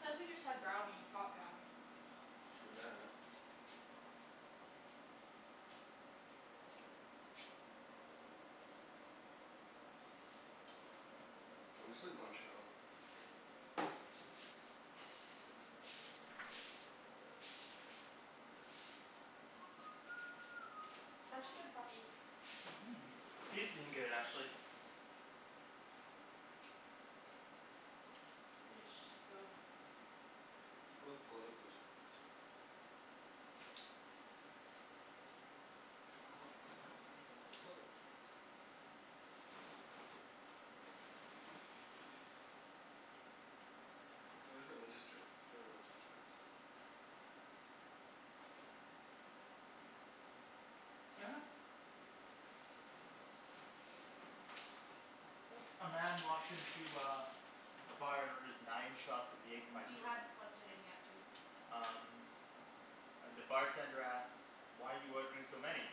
Cuz we just had brownies, hot brownies. True that. I'm just like munchin' out. Such a good puppy. Mhm, he's been good actually. You guys should just go. Let's go with political jokes. I don't want funny headlines, I want political jokes. Oh there's religious jokes. Let's go with religious jokes. A man walks into uh a bar and orders nine shots of You Jaegermeister. hadn't plugged it in yet, dude. Um And the bartender asks, "Why are you ordering so many?"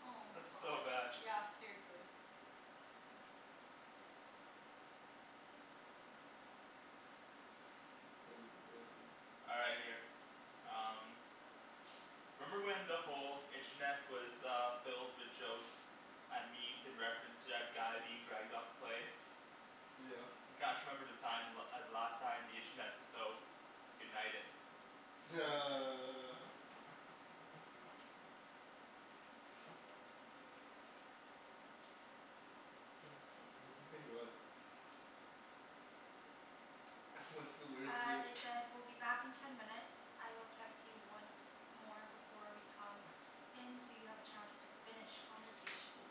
Oh my That's so bad. god. Yeah, seriously. Oh my god. All right, here. Um. Remember when the whole internet was uh filled with jokes and memes in reference to that guy being dragged off the plane? Yeah. I can't remember the time the la- the last time the internet was so united. What's the worst Uh thing they said "We'll be back in ten minutes. I will text you once more before we come in so you have a chance to finish conversations."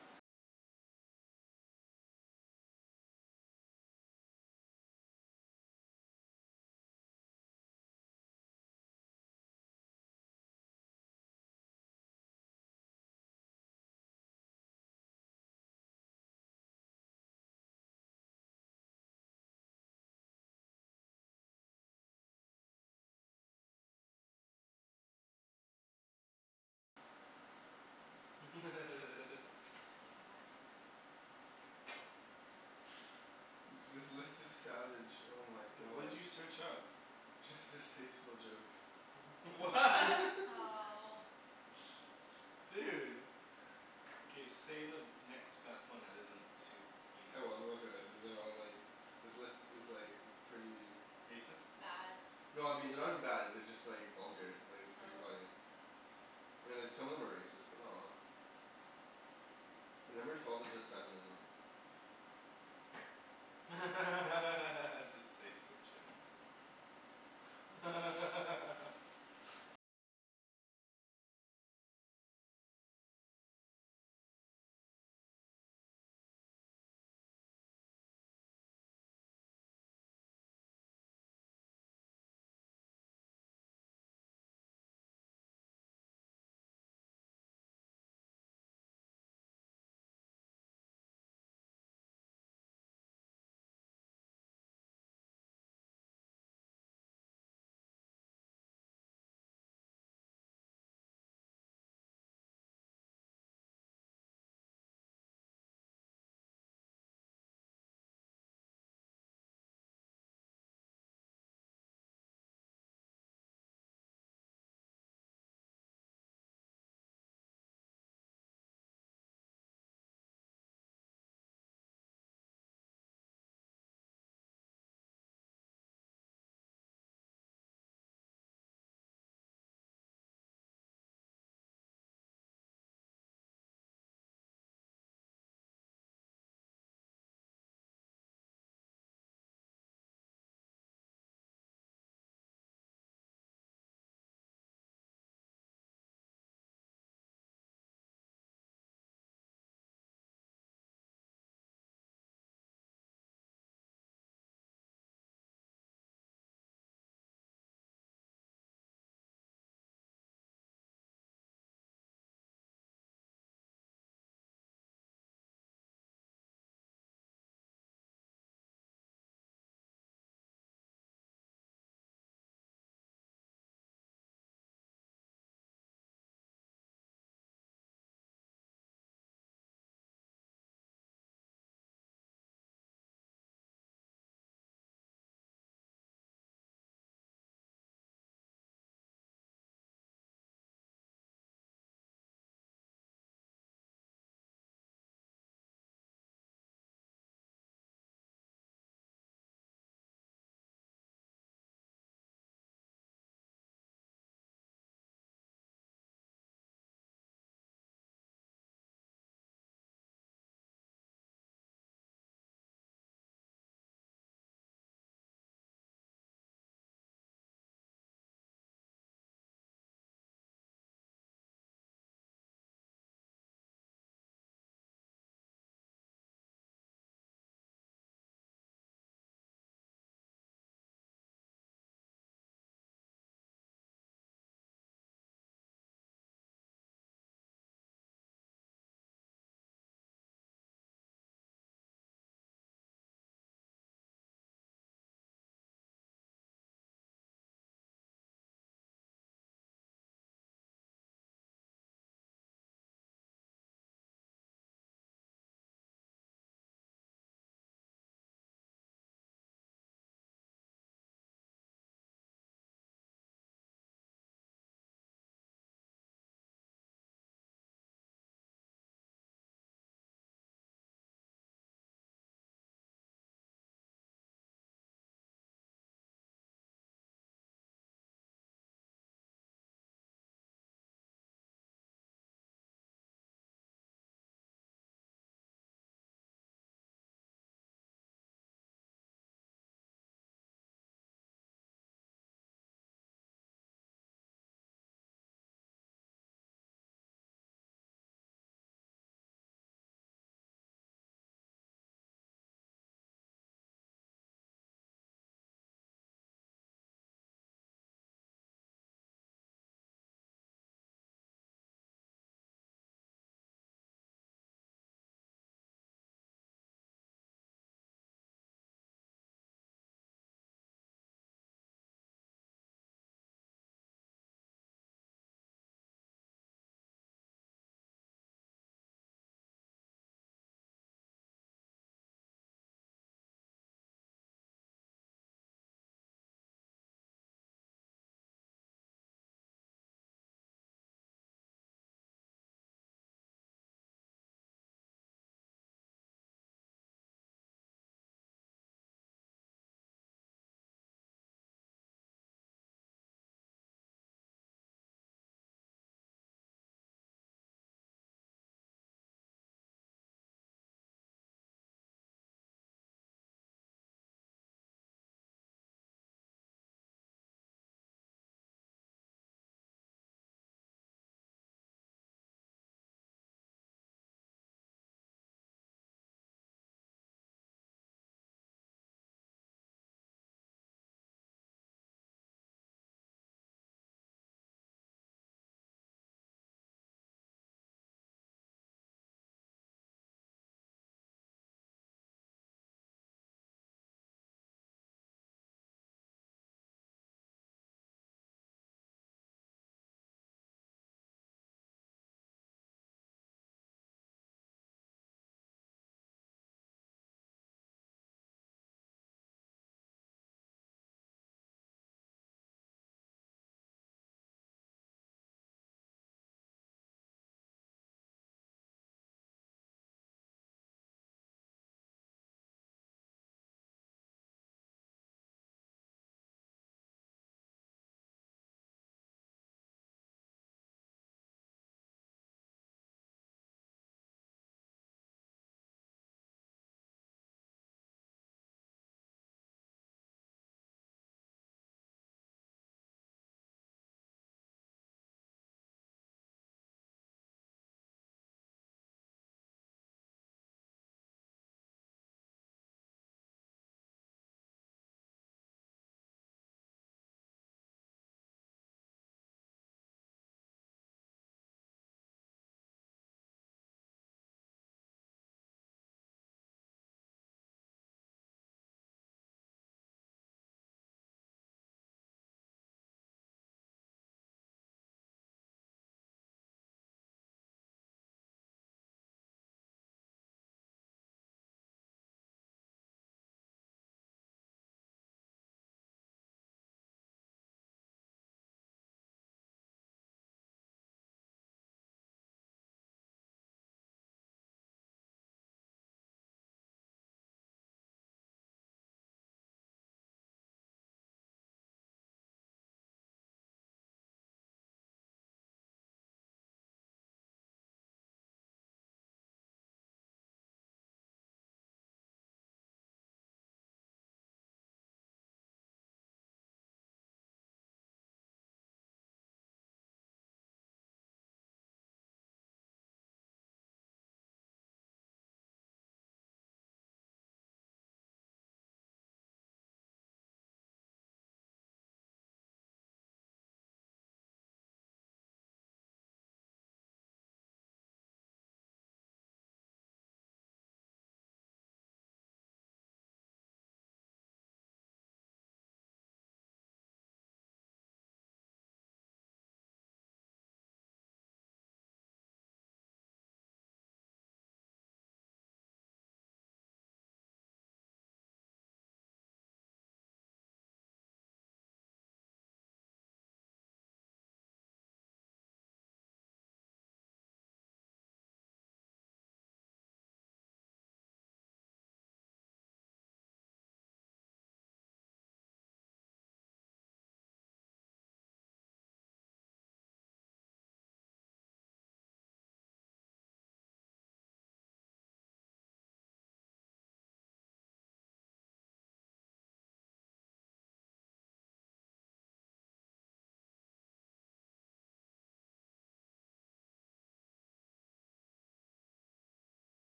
This list is savage, oh my What did god. you search up? Just distasteful jokes. Wha? Oh. Dude. K, say the next best one that isn't too heinous. Oh well I'm gonna throw it, these are all like, this list is like pretty Racist? Bad. No I mean they're not even bad, they're just like vulgar, like it's pretty Oh. funny. I mean like some of them are racist, but not a lot. Like number twelve is just feminism. Distasteful jokes.